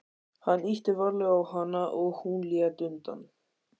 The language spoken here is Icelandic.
Hann ýtti varlega á hana og hún lét undan.